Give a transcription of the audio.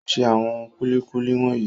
O ṣe àwọn kúlíkúlí wọ̀nyí.